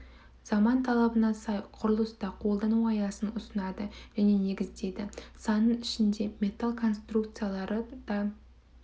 заман талабына сай құрылыста қолдану аясын ұсынады және негіздейді санның ішінде металл конструкциялары да